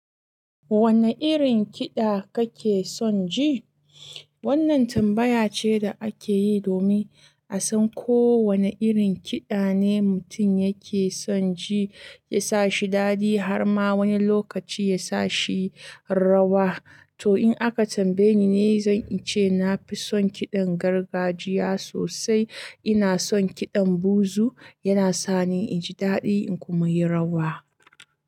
Wanne irin kiɗa kake son ji? Wannan tambaya ce da ake yi domin a san ko wane irin kiɗa ne mutum yake son ji ya sa shi dadi har ma wani lokaci ya sa shi rawa. To in aka tambaye ni ne, zan ce na fi son kiɗan gargajiya sosai. Ina son kiɗan buzu, yana sa ni in ji dadi kuma yi rawa.